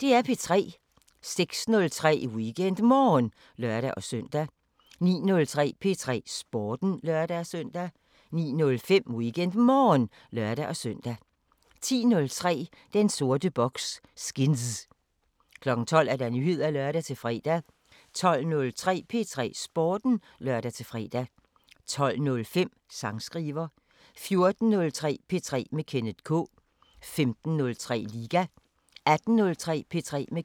06:03: WeekendMorgen (lør-søn) 09:03: P3 Sporten (lør-søn) 09:05: WeekendMorgen (lør-søn) 10:03: Den sorte boks: Skinz 12:00: Nyheder (lør-fre) 12:03: P3 Sporten (lør-fre) 12:05: Sangskriver 14:03: P3 med Kenneth K 15:03: Liga 18:03: P3 med Kenneth K